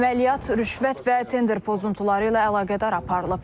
Əməliyyat rüşvət və tender pozuntuları ilə əlaqədar aparılıb.